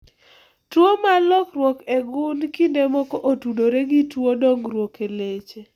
Tuo mar lokruok e gund kinde moko otudore gi tuwo dongruok e leche